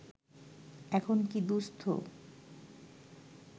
এখন কী দুস্থ